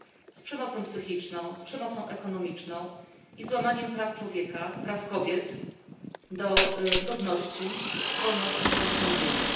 z przemocą psychiczną, z przemocą ekonomiczną i złamaniem praw człowieka praw kobiet do godności, wolności, samostanowienia.